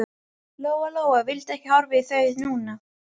Lóa-Lóa vildi ekki horfa í þau núna.